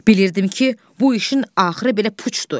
Bilirdim ki, bu işin axırı belə puçdur.